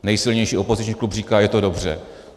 Nejsilnější opoziční klub říká, že je to dobře.